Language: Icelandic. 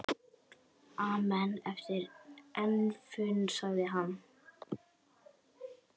Amen eftir efninu sagði hann.